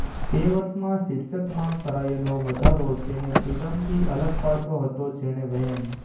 તે વર્ષમાં શીર્ષકમાં કરાયેલો વધારો તેને ફ્રિડમથી અલગ પાડતો હતો જેણે વ્હેમ